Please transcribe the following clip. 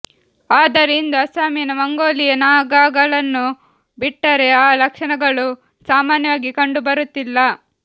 ಆದರೆ ಇಂದು ಅಸ್ಸಾಮಿನ ಮಂಗೋಲೀಯ ನಾಗಾಗಳನ್ನು ಬಿಟ್ಟರೆ ಆ ಲಕ್ಷಣಗಳು ಸಾಮಾನ್ಯವಾಗಿ ಕಂಡುಬರುತ್ತಿಲ್ಲ